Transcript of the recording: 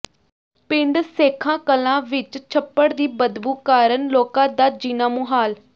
ਪਿੰਡ ਸੇਖਾ ਕਲਾਂ ਵਿੱਚ ਛੱਪੜ ਦੀ ਬਦਬੂ ਕਾਰਨ ਲੋਕਾਂ ਦਾ ਜੀਣਾ ਮੁਹਾਲ